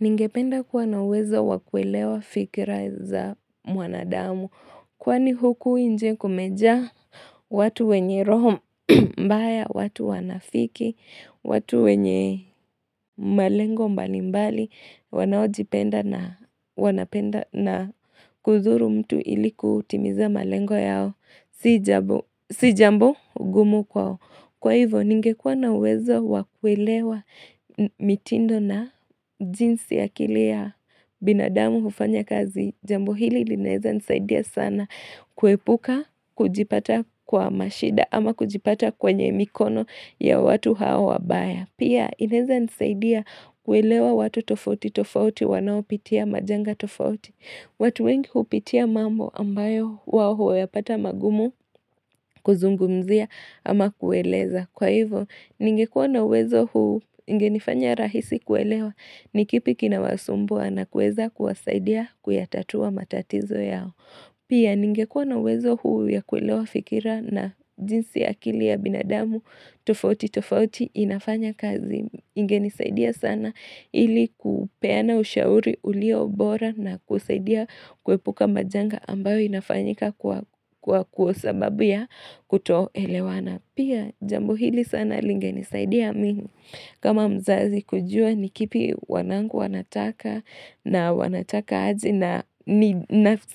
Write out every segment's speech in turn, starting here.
Ningependa kuwa na uwezo wa kuelewa fikira za mwanadamu, kwani huku inje kumejaa watu wenye roho mbaya, watu wanafiki, watu wenye malengo mbalimbali, wanaojipenda na kuzuru mtu ili kutimiza malengo yao, si jambo gumu kwao. Kwa hivyo, ningekuwa na uwezo wa kuelewa mitindo na jinsi ya kile ya binadamu ufanya kazi, jambo hili lineza nsaidia sana kuepuka kujipata kwa mashida ama kujipata kwenye mikono ya watu hao wabaya. Pia, inaeza nisaidia kuelewa watu tofauti tofauti wanaopitia majanga tofauti. Watu wengi kupitia mambo ambayo wao huyapata magumu kuzungumzia ama kueleza. Kwa hivyo, ningekuwa na uwezo huu ingenifanya rahisi kuelewa ni kipi kinawasumbua na kueza kuwasaidia kuyatatua matatizo yao. Pia, ningekuwa na uwezo huu ya kuelewa fikira na jinsi akili ya binadamu tofauti tofauti inafanya kazi. Ingenisaidia sana ili kupeana ushauri uliobora na kusaidia kuepuka majanga ambayo inafanyika kwa kwa sababu ya kutoelewana. Pia jambo hili sana lingenisaidia mimi. Kama mzazi kujua ni kipi wanangu wanataka na wanataka aje na ni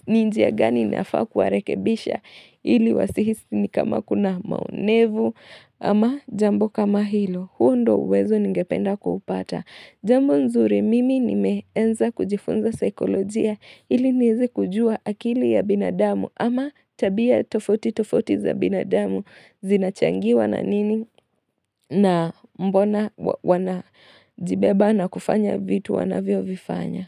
njia gani inafaa kuwarekebisha ili wasihisi ni kama kuna maonevu ama jambo kama hilo. Huo ndo uwezo ningependa kuhupata. Jambo nzuri mimi nimeanza kujifunza psikolojia ili niwezekujua akili ya binadamu ama tabia tofauti ti tofauti za binadamu zinachangiwa na nini na mbona wanajibeba na kufanya vitu wanavyo vifanya.